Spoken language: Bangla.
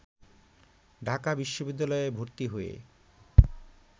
ঢাকা বিশ্ববিদ্যালয়ে ভর্তি হয়ে